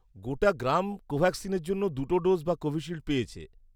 গোটা গ্রাম কোভ্যাক্সিনের জন্য দুটো ডোজ বা কোভিশিল্ড পেয়েছে।